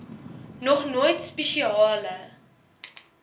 nog nooit spesiale